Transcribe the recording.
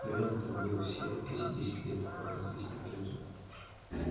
наверное так было все эти десять лет пока здесь никто не жил